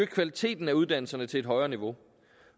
kvaliteten af uddannelserne til et højere niveau